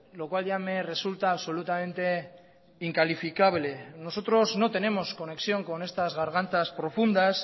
lo cual ya me resulta absolutamente incalificable nosotros no tenemos conexión con estas gargantas profundas